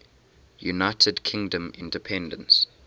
united kingdom independence